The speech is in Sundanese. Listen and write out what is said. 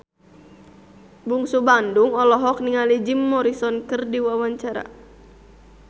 Bungsu Bandung olohok ningali Jim Morrison keur diwawancara